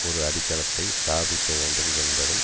ஒரு அடித்தளத்தை ஸ்தாபிக்க வேண்டும் என்பதும்